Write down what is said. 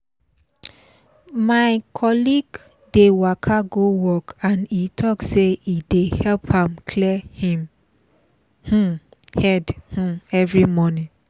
my colleague dey waka go work and e talk say e dey help am clear him um head um every morning